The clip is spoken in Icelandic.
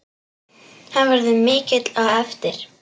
Hann verður mikill á eftir.